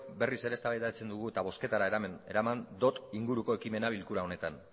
berriz ere eztabaidatzen dugu eta bozketara eraman dot inguruko ekimena bilkura honetan